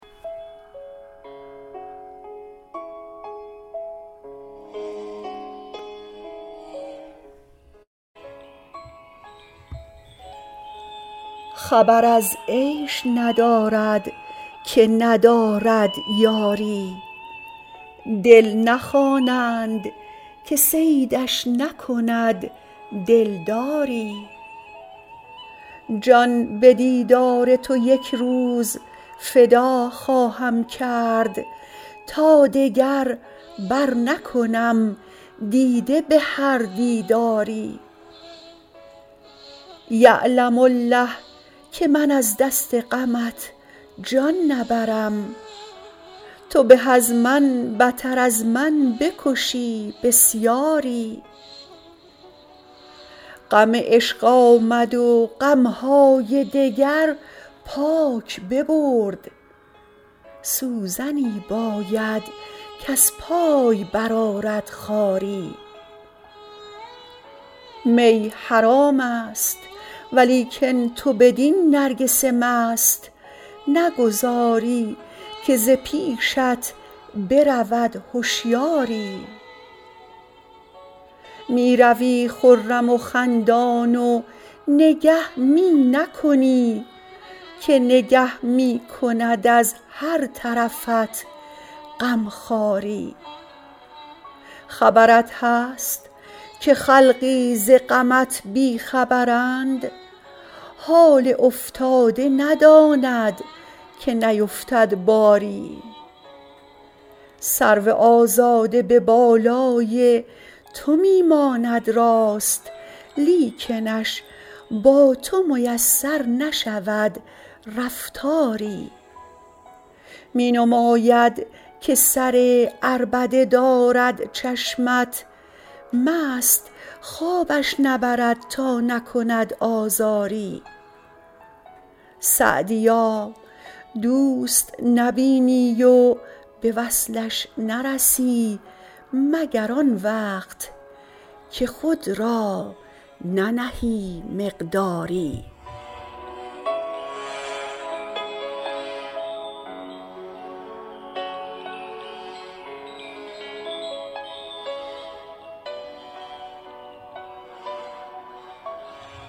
خبر از عیش ندارد که ندارد یاری دل نخوانند که صیدش نکند دلداری جان به دیدار تو یک روز فدا خواهم کرد تا دگر برنکنم دیده به هر دیداری یعلم الله که من از دست غمت جان نبرم تو به از من بتر از من بکشی بسیاری غم عشق آمد و غم های دگر پاک ببرد سوزنی باید کز پای برآرد خاری می حرام است ولیکن تو بدین نرگس مست نگذاری که ز پیشت برود هشیاری می روی خرم و خندان و نگه می نکنی که نگه می کند از هر طرفت غم خواری خبرت هست که خلقی ز غمت بی خبرند حال افتاده نداند که نیفتد باری سرو آزاد به بالای تو می ماند راست لیکنش با تو میسر نشود رفتاری می نماید که سر عربده دارد چشمت مست خوابش نبرد تا نکند آزاری سعدیا دوست نبینی و به وصلش نرسی مگر آن وقت که خود را ننهی مقداری